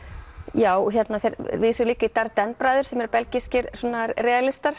já þeir vísuðu líka í Darrdenne bræður sem eru belgískir